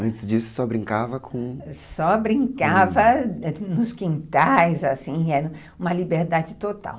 Antes disso, só brincava com... Só brincava nos quintais, assim, era uma liberdade total.